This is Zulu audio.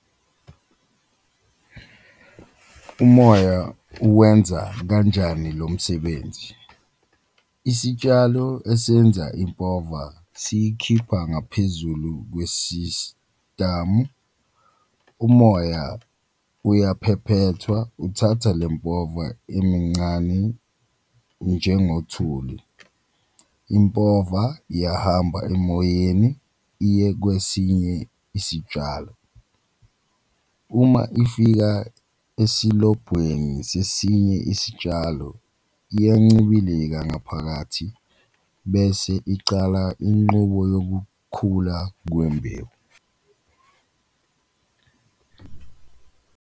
Umoya uwenza kanjani lo msebenzi? Isitshalo esiyenza impova siyikhipha ngaphezulu kwesisitamu, umoya uyaphephethwa uthatha le mpova emincani njengothuli, impova iyahamba emoyeni iye kwesinye isitshalo, uma ifika esilobhweni sesinye isitshalo iyancibilika ngaphakathi bese icala inqubo yokukhula kwembewu.